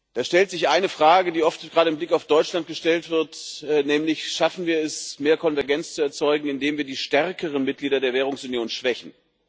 Da stellt sich eine Frage, die oft gerade mit Blick auf Deutschland gestellt wird, nämlich Schaffen wir es, mehr Konvergenz zu erzeugen, indem wir die stärkeren Mitglieder der Währungsunion schwächen?